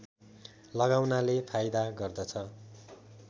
लगाउनाले फाइदा गर्दछ